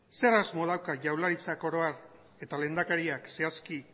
zer asmo dauka jaurlaritzak oro har eta lehendakariak zehazki